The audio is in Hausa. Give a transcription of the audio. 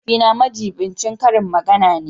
Mahaifina majibincin karin magana ne